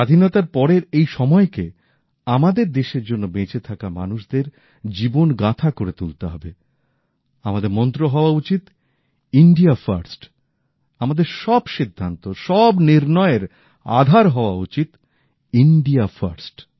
স্বাধীনতার পরের এই সময় কে আমাদের দেশের জন্য বেঁচে থাকা মানুষদের জীবন গাথা করে তুলতে হবে আমাদের মন্ত্র হওয়া উচিত ভারতই হবে প্রথম আমাদের সব সিদ্ধান্ত সব নির্ণয় এর আধার হওয়া উচিত ইন্ডিয়া ফার্স্ট